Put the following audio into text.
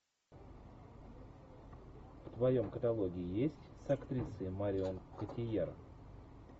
в твоем каталоге есть с актрисой марион котийяр